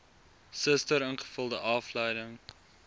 suster ingevulde afdeling